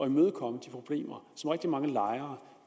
imødekomme de problemer som rigtig mange lejere